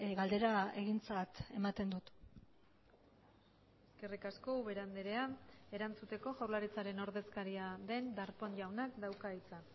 galdera egintzat ematen dut eskerrik asko ubera andrea erantzuteko jaurlaritzaren ordezkaria den darpón jauna dauka hitza